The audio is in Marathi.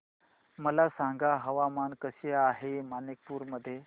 मला सांगा हवामान कसे आहे मणिपूर मध्ये